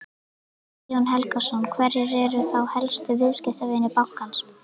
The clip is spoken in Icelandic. Guðjón Helgason: Hverjir eru þá helstu viðskiptavinir bankans?